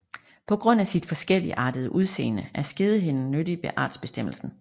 På grund af sit forskelligartede udseende er skedehinden nyttig ved artsbestemmelsen